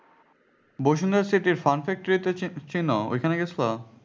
বসুনের city এর চিনো ঐখানে গেছো?